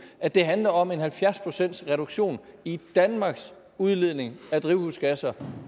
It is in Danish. at det handler om en halvfjerds pcts reduktion i danmarks udledning af drivhusgasser